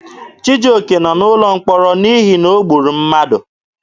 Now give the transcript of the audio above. Chijioke nọ n'ụlọ mkpọrọ n'ihi na o gburu mmadụ.